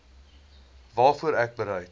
waarvoor ek bereid